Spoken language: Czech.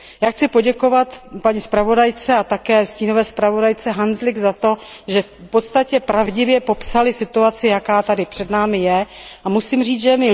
Já chci poděkovat paní zpravodajce a také stínové zpravodajce Handzlikové za to, že v podstatě pravdivě popsaly situaci, jaká tady před námi je.